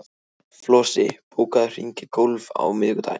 Flosi, bókaðu hring í golf á miðvikudaginn.